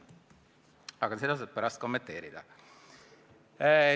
Aga seda saad sa ise pärast kommenteerida.